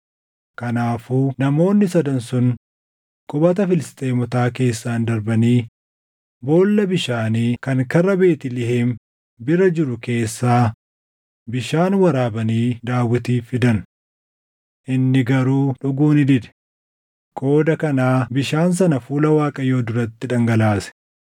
Kanaafuu namoonni Sadan sun qubata Filisxeemotaa keessaan darbanii boolla bishaanii kan karra Beetlihem bira jiru keessaa bishaan waraabanii Daawitiif fidan. Inni garuu dhuguu ni dide; qooda kanaa bishaan sana fuula Waaqayyoo duratti dhangalaase.